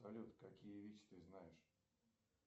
салют какие вещи ты знаешь